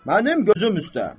"Mənim gözüm üstə.